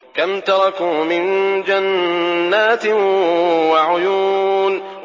كَمْ تَرَكُوا مِن جَنَّاتٍ وَعُيُونٍ